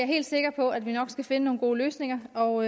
helt sikker på at vi nok skal finde nogle gode løsninger og